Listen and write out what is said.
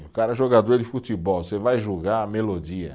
O cara é jogador de futebol, você vai julgar a melodia.